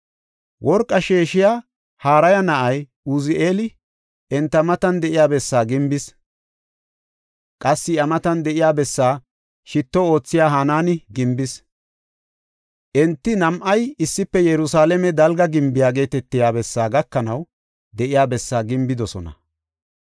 Worqa sheeshiya Harihaya na7ay Uzi7eeli enta matan de7iya bessaa gimbis. Qassi iya matan de7iya bessaa shitto oothiya Hanaani gimbis. Enti nam7ay issife Yerusalaame Dalga Gimbiya geetetiya bessaa gakanaw de7iya bessaa gimbidosona.